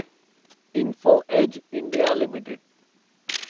info edge India limited